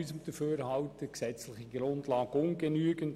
Zudem ist die gesetzliche Grundlage dafür ungenügend.